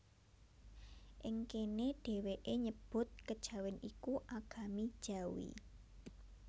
Ing kéné dhèwèké nyebut Kejawèn iku Agami Jawi